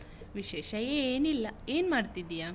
ವಿಶೇಷ ಏನಿಲ್ಲ, ಏನ್ ಮಾಡ್ತಿದ್ದಿಯಾ?